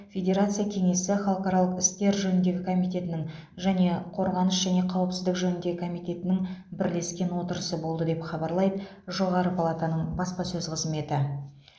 федерация кеңесі халықаралық істер жөніндегі комитетінің және қорғаныс және қауіпсіздік жөніндегі комитетінің бірлескен отырысы болды деп хабарлайды жоғары палатаның баспасөз қызметі